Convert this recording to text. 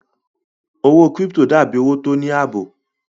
Owó kírípítò dà bí owó tó ní àbò